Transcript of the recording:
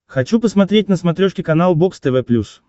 хочу посмотреть на смотрешке канал бокс тв плюс